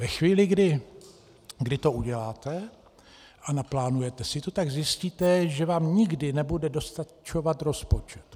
Ve chvíli, kdy to uděláte a naplánujete si to, tak zjistíte, že vám nikdy nebude dostačovat rozpočet.